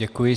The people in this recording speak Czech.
Děkuji.